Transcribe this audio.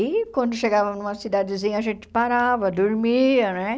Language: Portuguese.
E quando chegava numa cidadezinha, a gente parava, dormia né.